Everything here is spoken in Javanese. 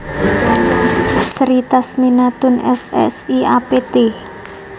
Sri Tasminatun S Si Apt